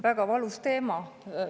Väga valus teema.